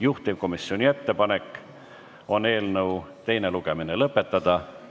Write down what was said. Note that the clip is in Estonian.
Juhtivkomisjoni ettepanek on eelnõu teine lugemine lõpetada.